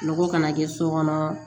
Nɔgɔ kana kɛ so kɔnɔ